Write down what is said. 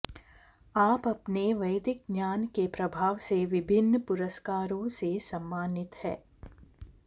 आप अपने वैदिक ज्ञान के प्रभाव से विभिन्न पुरस्कारों से सम्मानित है